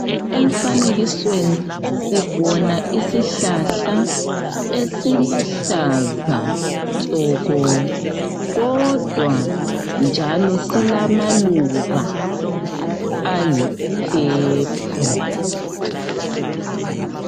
Emfanekisweni sibona isihlahla Esiluhlaza tshoko. Kodwa njalo silamaluba ayi purple.